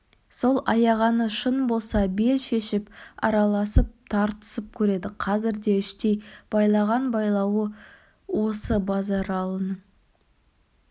сол аяғаны шын болса бел шешіп араласып тартысып көреді қазір де іштей байлаған байлауы осы базаралының